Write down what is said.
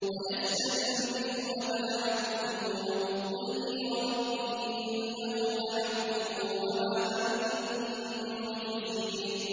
۞ وَيَسْتَنبِئُونَكَ أَحَقٌّ هُوَ ۖ قُلْ إِي وَرَبِّي إِنَّهُ لَحَقٌّ ۖ وَمَا أَنتُم بِمُعْجِزِينَ